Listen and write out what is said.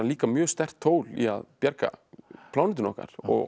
mjög sterkt tól í að bjarga plánetunni okkar og